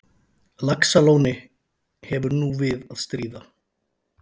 Laxalóni hefur nú við að stríða.